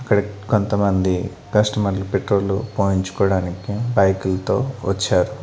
ఇక్కడ కొంతమంది కస్టమర్ లు పెట్రోలు పోయించుకోడానికి బైకు లతో వోచ్చారు.